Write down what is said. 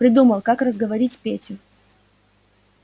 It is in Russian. придумал как разговорить петю